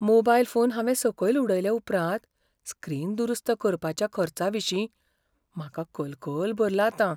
Mobile phone हांवें सकयल उडयले उपरांत स्क्रीन दुरुस्त करपाच्या खर्चाविशीं म्हाका कलकल भरला आतां.